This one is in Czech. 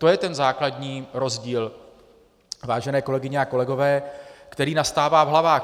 To je ten základní rozdíl, vážené kolegyně a kolegové, který nastává v hlavách.